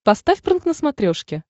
поставь прнк на смотрешке